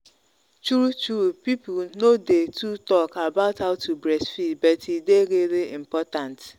true truepeople no day too talk about how to breastfeed but e day really important